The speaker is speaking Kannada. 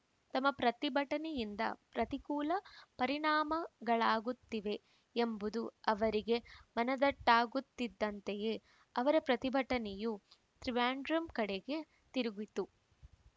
ತಮ್ಮ ಪ್ರತಿಭಟನೆಯಿಂದ ಪ್ರತಿಕೂಲ ಪರಿಣಾಮಗಳಾಗುತ್ತಿವೆ ಎಂಬುದು ಅವರಿಗೆ ಮನದಟ್ಟಾಗುತ್ತಿದ್ದಂತೆಯೇ ಅವರ ಪ್ರತಿಭಟನೆಯು ತ್ರಿವೆಂಡ್ರಮ್ ಕಡೆಗೆ ತಿರುಗಿತು